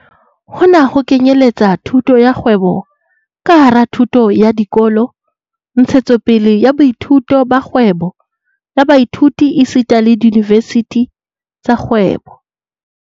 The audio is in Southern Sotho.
Hona ho kenyeletsa thuto ya kgwebo ka hara thuto ya dikolo, ntshetsopele ya boithuti ba kgwebo ya baithuti esita le diyunivesithi tsa kgwebo.